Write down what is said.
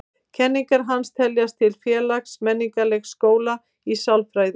Kenningar hans teljast til félags-menningarlegs skóla í sálfræði.